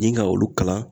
Ni ka olu kalan